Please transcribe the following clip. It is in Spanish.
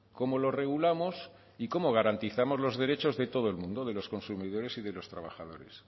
cómo lo regulamos y cómo garantizamos los derechos de todo el mundo de los consumidores y de los trabajadores